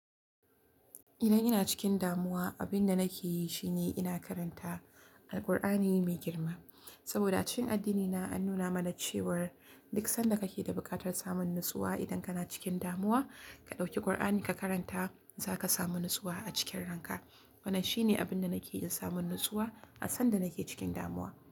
Idan ina cikin damuwa, abin da nake yi shine ina karanta Alqur'ani mai girma. Saboda a cikin addinina an nuna mana cewar duk sanda kake da bukatar samun natsuwa idan kana cikin damuwa, ka ɗauki Qur'ani ka karanta, za ka samu natsuwa a cikin ranka. Wannan shine abin da nake yi don samun natsuwa a sanda nake cikin damuwa.